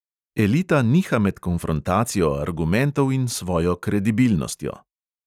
Elita niha med konfrontacijo argumentov in svojo kredibilnostjo.